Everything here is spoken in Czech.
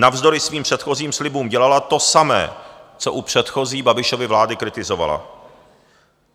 Navzdory svým předchozím slibům dělala to samé, co u předchozí Babišovy vlády kritizovala.